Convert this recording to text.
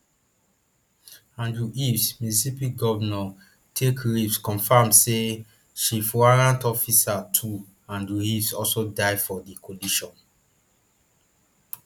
andrew eaves mississippi governor tate reeves confam say chief warrant officer two andrew eaves also die for di collision